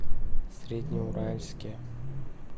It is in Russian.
среднеуральске